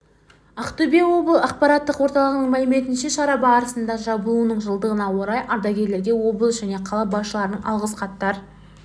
ақтөбе ақпарат орталығының мәліметінше шара барысында жабылуының жылдығына орай ардагерлерге облыс және қала басшыларының алғыс хаттар